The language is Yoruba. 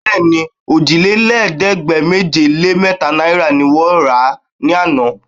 Bẹ́ẹ̀ni, òjìlélẹ́ẹ̀ẹ́dégbèje-lé-mẹ́ta náìrà ni wọ́n rà á ní àná